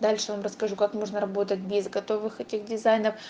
дальше вам расскажу как можно работать без готовых этих дизайнов